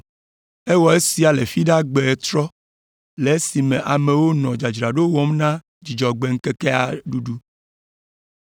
Ewɔ esia le Fiɖagbe ɣetrɔ le esime amewo nɔ dzadzraɖo wɔm na Dzudzɔgbe ŋkekea ɖuɖu.